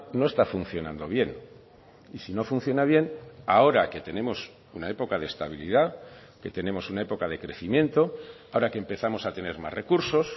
no está funcionando bien y si no funciona bien ahora que tenemos una época de estabilidad que tenemos una época de crecimiento ahora que empezamos a tener más recursos